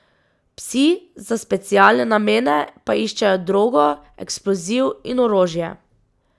Psi za specialne namene pa iščejo drogo, eksploziv in orožje.